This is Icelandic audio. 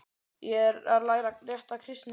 Ég er að læra rétta kristni.